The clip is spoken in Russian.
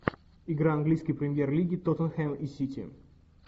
игра английской премьер лиги тоттенхэм и сити